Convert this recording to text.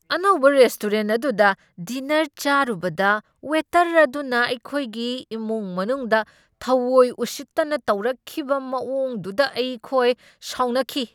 ꯑꯅꯧꯕ ꯔꯦꯁꯇꯣꯔꯦꯟꯠ ꯑꯗꯨꯗ ꯗꯤꯟꯅꯔ ꯆꯥꯔꯨꯕꯗ ꯋꯦꯇꯔ ꯑꯗꯨꯅ ꯑꯩꯈꯣꯏꯒꯤ ꯏꯃꯨꯡ ꯃꯅꯨꯡꯗ ꯊꯥꯑꯣꯢ ꯎꯁꯤꯠꯇꯅ ꯇꯧꯔꯛꯈꯤꯕ ꯃꯑꯣꯡꯗꯨꯗ ꯑꯩ ꯈꯣꯏ ꯁꯥꯎꯅꯈꯤ꯫